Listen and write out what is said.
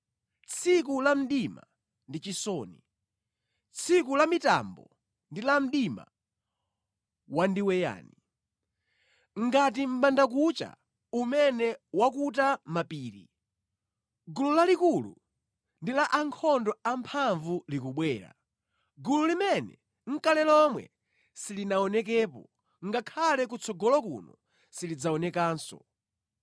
tsiku la mdima ndi chisoni, tsiku la mitambo ndi la mdima wandiweyani. Ngati mʼbandakucha umene wakuta mapiri, gulu lalikulu ndi la ankhondo amphamvu likubwera, gulu limene nʼkale lomwe silinaonekepo ngakhale kutsogolo kuno silidzaonekanso.